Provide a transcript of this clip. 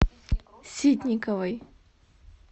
ситниковой